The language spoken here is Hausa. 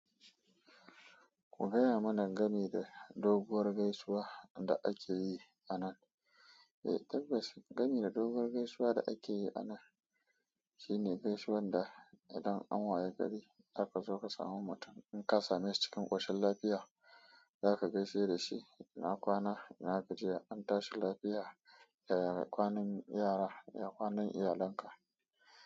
Ku gaya mana game da doguwar gaisuwa da ake yi a nan. Eh tabbas gami da doguwar gaisuwa da ake yi a nan. Shine gaisuwan da idan an waye gari zaka zo ka samu mutum in ka same shi cikin koshin lafiya. Zaka gaishe da shi ina kwana ina gajiya an tashi lafiya, yaya kwanan yara ya kwanan iyalanka.